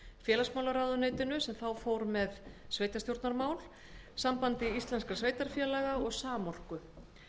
félagsmálaráðuneytinu sem þá fór með sveitarstjórnarmál sambandi íslenskra sveitarfélaga og samorku